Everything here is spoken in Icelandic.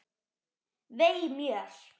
Vei mér.